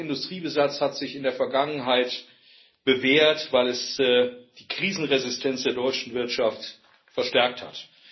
Dieser hohe Industriebesatz hat sich in der Vergangenheit bewährt, weil dies die Krisenresistenz der deutschen Wirtschaft verstärkt hat.